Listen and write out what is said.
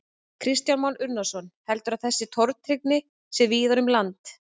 Kristján Már Unnarsson: Heldurðu að þessi tortryggni sé víðar um land?